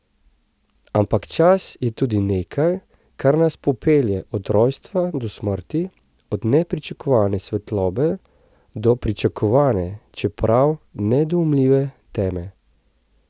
Ampak čas je tudi nekaj, kar nas popelje od rojstva do smrti, od nepričakovane svetlobe do pričakovane, čeprav nedoumljive teme.